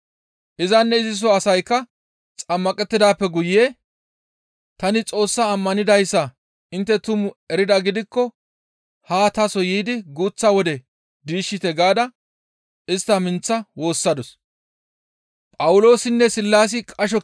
Izanne iziso asaykka xammaqettidaappe guye, «Tani Xoos ammanidayssa intte tumu eridaa gidikko haa taso yiidi guuththa wode diishshite» gaada istta minththa woossadus.